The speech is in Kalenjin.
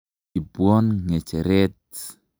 Ipwon ng'echeret.